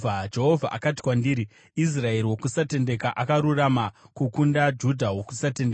Jehovha akati kwandiri, “Israeri wokusatenda akarurama kukunda Judha wokusatendeka.